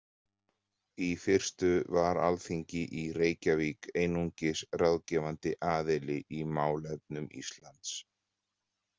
Í fyrstu var Alþingi í Reykjavík einungis ráðgefandi aðili í málefnum Íslands.